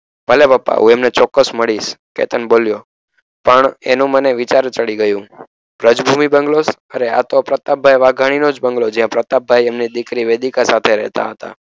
ભલે પપ્પા હું એમને ચોક્કસ મળીશ કેતન બોલ્યો પણ એનું મને વિચારે ચડી ગયું વ્રજભૂમી બંગલોસ અરે આતો પ્રતાપ ભાઈ વઘાણીનોજ બંગલો જે આ પ્રતાપ ભાઈ એમની દીકરી વેદિકા સાથે રહેતા હતા